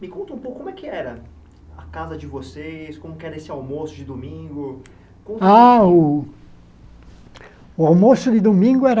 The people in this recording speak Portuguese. Me conta um pouco como é que era a casa de vocês, como que era esse almoço de domingo... Ah, o o almoço de domingo era...